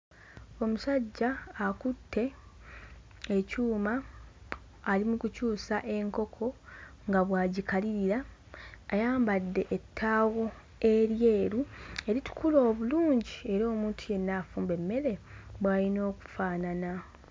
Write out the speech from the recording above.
Omusajja akutte ekyuma ali mu kukyusa enkoko nga bw'agikalirira ayambadde ettaawo eryeru eritukula obulungi era omuntu yenna afumba emmere bw'ayina okufaanana.